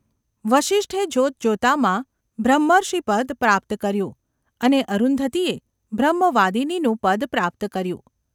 વસિષ્ઠે જોતજોતામાં બ્રહ્મર્ષિપદ પ્રાપ્ત કર્યું અને અરુંધતીએ બ્રહ્મવાદિનીનું પદ પ્રાપ્ત કર્યું.